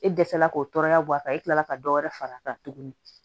E dɛsɛla k'o tɔɔrɔya bɔ a kan e kila la ka dɔ wɛrɛ far'a kan tuguni